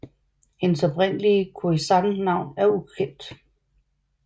Hendes oprindelige Khoi San navn er ukendt